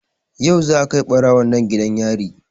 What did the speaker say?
Yau za a kai ɓarawon nan gidan yari